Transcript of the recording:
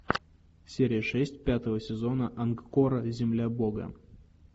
серия шесть пятого сезона ангкора земля бога